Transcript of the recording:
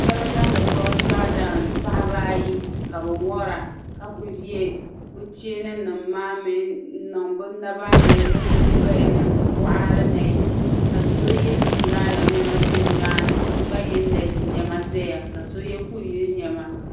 shebi n niŋdi bɛ kolchiral daansi paɣaba ayi ka bɛ wara ka kuli ye bɛ cheeni nima maa n niŋ bɛ naba ni bɛ nyingoyani bɛ boɣari ni ka so ye zumlaayon nema ʒɛ nimaani so gba ye neesi nema ʒɛya ka so ye kuyili nema